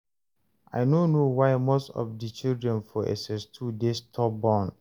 I no know why most of di children for SS2 dey stubborn